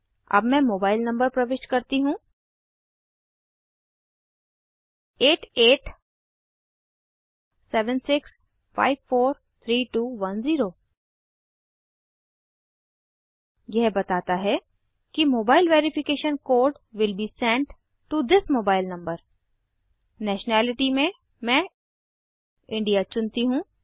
अब मैं mobile number प्रविष्ट करती हूँ 8876543210 यह बताता है कि mobile verification code will be sent to this mobile number nationality में मैं इंडिया चुनती हूँ